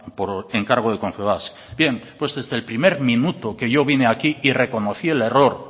por encargo de confebask bien pues desde el primer minuto que yo vine aquí y reconocí el error